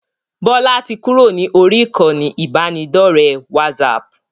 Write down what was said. Bọlá tí kúrò ní orí ìkànnì ibanidọ̀rẹ́ WhatsApp